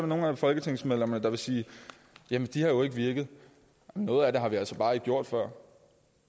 nogle folketingsmedlemmer der vil sige jamen de har jo ikke virket noget af det har vi altså bare ikke gjort før